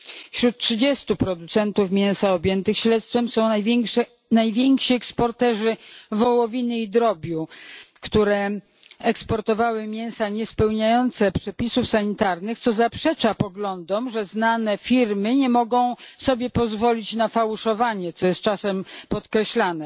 Wśród trzydziestu producentów mięsa objętych śledztwem są najwięksi eksporterzy wołowiny i drobiu, którzy eksportowali mięsa niespełniające przepisów sanitarnych, co zaprzecza poglądom, że znane firmy nie mogą sobie pozwolić na fałszowanie, co jest czasem podkreślane.